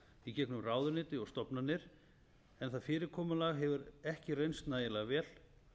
í gegnum ráðuneyti og stofnanir en það fyrirkomulag hefur ekki reynst nægjanlega vel